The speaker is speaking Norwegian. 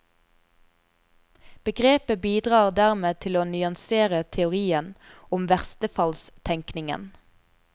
Begrepet bidrar dermed til å nyansere teorien om verstefallstenkningen.